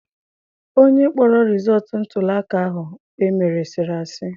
Onye kpọrọ rizọọtụ ntụliaka ahụ emere sịrị asị.